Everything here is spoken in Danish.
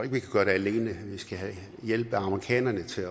vi kan gøre det alene vi skal have hjælp af amerikanerne til